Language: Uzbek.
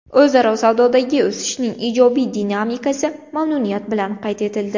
O‘zaro savdodagi o‘sishning ijobiy dinamikasi mamnuniyat bilan qayd etildi.